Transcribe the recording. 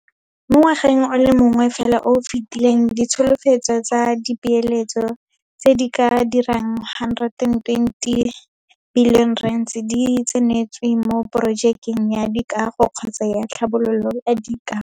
Mo ngwageng o le mongwe fela o o fetileng ditsholofetso tsa dipeeletso tse di ka dirang R120 bilione di tsentswe mo porojekeng ya dikago kgotsa ya tlhabololo ya dikago.